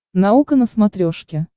наука на смотрешке